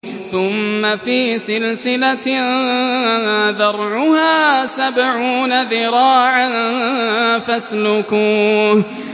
ثُمَّ فِي سِلْسِلَةٍ ذَرْعُهَا سَبْعُونَ ذِرَاعًا فَاسْلُكُوهُ